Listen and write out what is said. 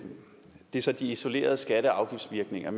er så de isolerede skatte og afgiftsvirkninger